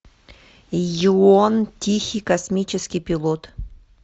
ийон тихий космический пилот